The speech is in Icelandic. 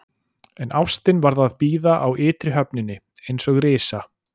En ástin varð að bíða á ytri höfninni, eins og risa